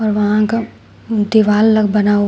और वहां का दीवाल लोग बना हुआ--